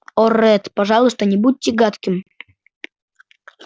о ретт пожалуйста не будьте гадким